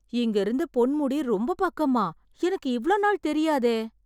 இங்க இருந்து பொன்முடி ரொம்ப பக்கமா? எனக்கு இவ்ளோ நாள் தெரியாதே.